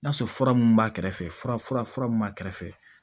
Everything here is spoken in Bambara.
N'a sɔrɔ fura mun b'a kɛrɛfɛ fura mun b'a kɛrɛfɛ